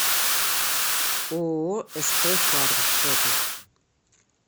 ооо сп фарм фото